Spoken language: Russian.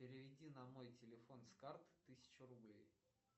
переведи на мой телефон с карт тысячу рублей